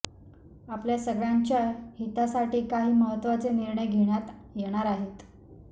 आपल्या सगळ्यांच्या हितासाठी काही महत्त्वाचे निर्णय घेण्यात येणार आहेत